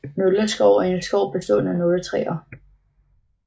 Nåleskov er en skov bestående af nåletræer